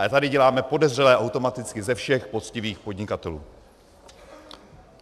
Ale tady děláme podezřelé automaticky ze všech poctivých podnikatelů.